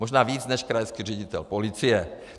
Možná více než krajský ředitel policie.